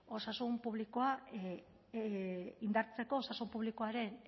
osasun publikoa indartzeko osasun publikoaren